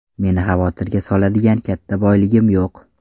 Meni xavotirga soladigan katta boyligim yo‘q.